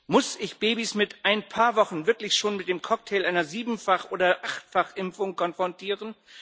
Muss ich Babys mit ein paar Wochen wirklich schon mit dem Cocktail einer Siebenfach oder Achtfach Impfung konfrontieren?